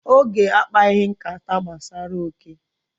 Oge akpaghị nkata gbasara oke.